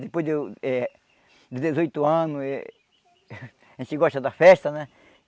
Depois de eu eh de dezoito anos, a gente gosta da festa, né?